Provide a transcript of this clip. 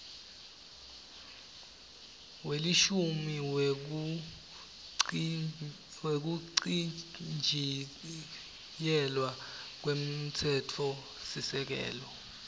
welishumi wekuchitjiyelwa kwemtsetfosisekelo